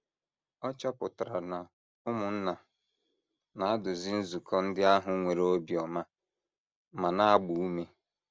Ọ chọpụtara na ụmụnna na - eduzi nzukọ ndị ahụ nwere obiọma ma na - agba ume.